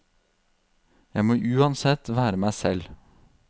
Jeg må uansett være meg selv.